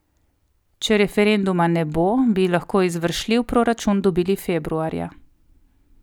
Če referenduma ne bo, bi lahko izvršljiv proračun dobili februarja.